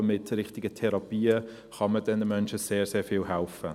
Aber mit den richtigen Therapien kann man diesen Menschen sehr, sehr viel helfen.